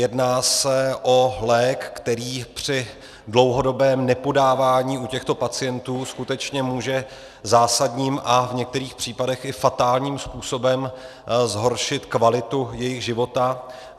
Jedná se o lék, který při dlouhodobém nepodávání u těchto pacient skutečně může zásadním a v některých případech i fatálním způsobem zhoršit kvalitu jejich života.